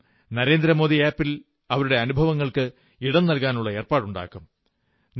ഞാനും നരേന്ദ്രമോദി ആപ് ൽ അവരുടെ അനുഭവങ്ങൾക്ക് ഇടം നൽകാനുള്ള ഏർപ്പാടുണ്ടാക്കും